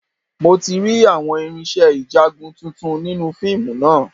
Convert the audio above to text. Mo ti rí àwọn irinṣẹ́ ìjagun tuntun nínú fíìmù náà